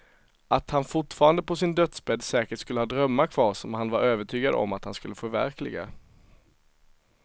Att han fortfarande på sin dödsbädd säkert skulle ha drömmar kvar som han var övertygad om att han skulle förverkliga.